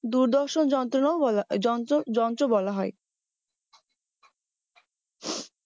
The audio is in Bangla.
দূরদর্শন যন্ত্র বলা যন্ত্র যন্ত্র বলা হয়